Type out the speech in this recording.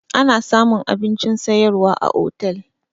Ana samun abincin sayarwa a otel